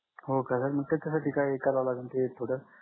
हो काय sir मग त्याच्यासाठी काय करावं लागलं ते थोडं